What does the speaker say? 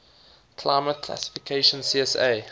climate classification csa